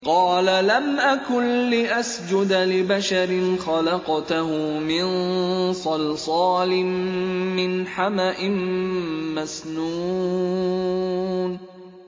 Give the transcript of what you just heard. قَالَ لَمْ أَكُن لِّأَسْجُدَ لِبَشَرٍ خَلَقْتَهُ مِن صَلْصَالٍ مِّنْ حَمَإٍ مَّسْنُونٍ